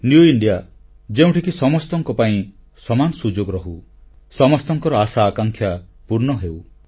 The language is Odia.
ନିଉ ଇଣ୍ଡିଆ ଯେଉଁଠିକି ସମସ୍ତଙ୍କ ପାଇଁ ସମାନ ସୁଯୋଗ ରହୁ ସମସ୍ତଙ୍କର ଆଶାଆକାଂକ୍ଷା ପୂର୍ଣ୍ଣ ହେଉ